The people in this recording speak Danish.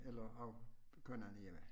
Eller at køre en anden hjemvej